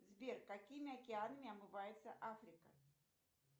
сбер какими океанами омывается африка